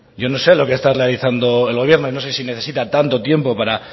yo no sé lo que ha estado realizando el gobierno no sé si necesita tanto tiempo para